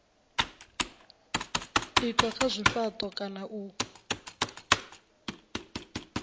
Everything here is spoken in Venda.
itwa kha zwifhato kana u